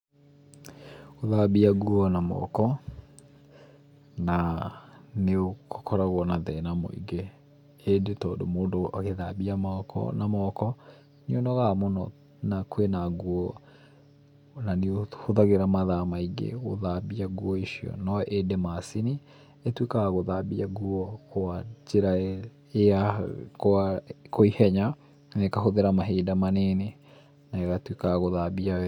Gũthambia nguo na moko naa, nĩũkoragwo na thĩna mũingĩ, ĩndĩ tondũ mũndũ agĩthambia moko, na moko, nĩũnogaga mũno na kwĩna nguo na nĩũhũthagĩra mathaa maingĩ gũthambia nguo icio. No ĩndĩ macini ĩtuĩkaga ya gũthambia nguo kwa njĩra ĩ ya kwa kwa ihenya, na ĩkahũthĩra mahinda manini na ĩgatuĩka ya gũthambia wega.